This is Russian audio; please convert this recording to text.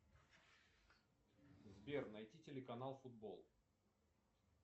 сбер найти телеканал футбол